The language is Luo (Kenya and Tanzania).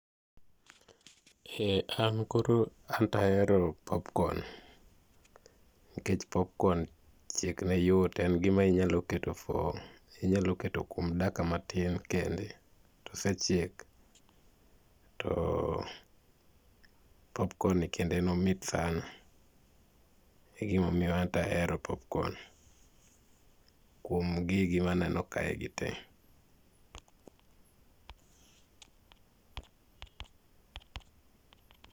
Eeh an koro, anto ahero popcorn. Nikech popcorn chiek ne yot. En gima inyalo keto for, inyalo keto kuom dakika matin kende tosechiek. To popcorn[c] ni kende en omit sana. E gima omiyo anto ahero popcorn kuom gigi maneno kae gi tee.